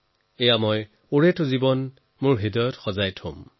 এই বিষয়টোক মই আজীৱন স্মৃতিৰ মনিকোঠাত ৰাখিম